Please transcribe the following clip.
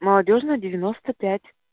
молодёжная девяносто пять